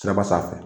Siraba sanfɛ